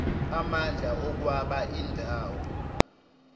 amandla okwaba indawo